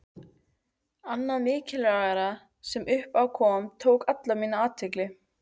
Annað mikilvægara sem upp á kom, tók alla mína athygli.